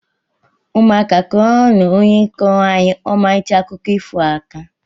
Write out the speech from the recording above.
Ụmụaka kuọrọnu ónyé kọro anyị Omalicha akụkọ ifo a aka!!!